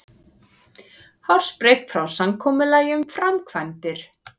Hársbreidd frá samkomulagi um framkvæmdir